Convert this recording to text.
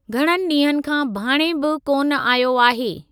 घणनि डीं॒हनि खां भाणे बि कोन आयो आहे।